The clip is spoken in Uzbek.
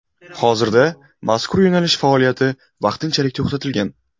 Hozirda mazkur yo‘nalish faoliyati vaqtinchalik to‘xtatilgan.